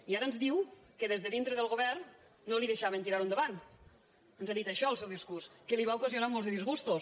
i ara ens diu que des de dintre del govern no li deixaven tirar·ho endavant ens ha dit això en el seu discurs que li va ocasionar molts de disgustos